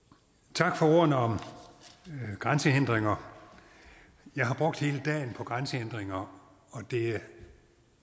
tak for ordene om grænsehindringer jeg har brugt hele dagen på grænsehindringer og det er